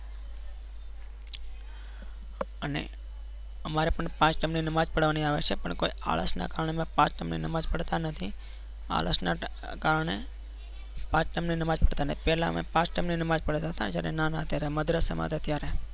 અને તમારે પણ પાંચ time ની નમાજ પડવાની આવે છે પણ કોઈ આળસના કારણે મેં પાંચ time ની નમાજ પડતા નથી. આળસના કારણે પાંચ time ની નમાજ પડતા નથી. પહેલા પાંચ time ની નમાજ પડતા હતા, જ્યારે નાના હતા ત્યારે મદ્રાસમાં હતા ત્યારે.